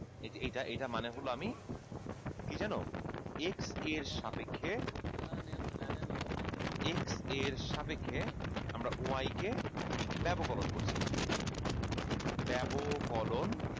এই যে এইটা এইটা মানে হলো আমি কি জানো x এর সাপেক্ষে x এর সাপেক্ষে আমরা y কে ব্যবকলন করছি ব্যবকলন